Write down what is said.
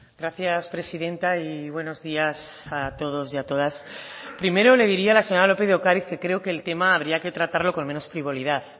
gracias presidenta y buenos días a todos y a todas primero le diría a la señora lópez de ocariz que creo que el tema habría que tratarlo con menos frivolidad